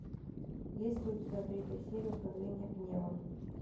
есть ли у тебя третья серия управление гневом